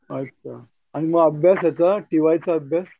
आणि मग अभ्यास याचा टीवायचा अभ्यास?